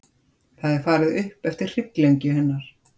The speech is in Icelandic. Það er farið upp eftir hrygglengju hennar.